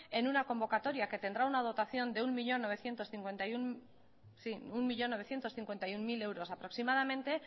en una convocatoria que tendrá una dotación de un millón novecientos cincuenta y uno mil euros aproximadamente